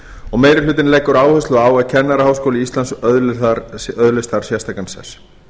og meiri hlutinn leggur áherslu á að kennaraháskóli íslands öðlist þar sérstakan sess